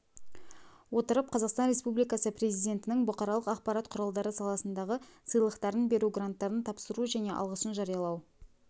отырып қазақстан республикасы президентінің бұқаралық ақпарат құралдары саласындағы сыйлықтарын беру гранттарын тапсыру және алғысын жариялау